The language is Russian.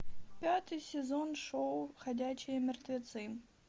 пятый сезон шоу ходячие мертвецы